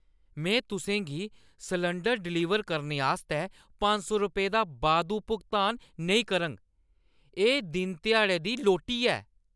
मैं तुसें गी सलैंडर डिलीवर करने आस्तै पंज रपेंऽ दा बाद्धू भुगतान नेईं करङ। एह् दिनध्याड़े दी लोट्टी ऐ!